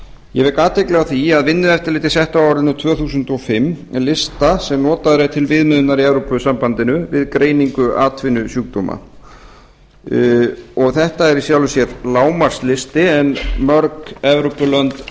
ég vek athygli á því að vinnueftirlitið setti á árinu tvö þúsund og fimm lista sem notaður er til viðmiðunar í evrópusambandinu við greiningu atvinnusjúkdóma þetta er í sjálfu sér lágmarkslisti en mörg evrópulönd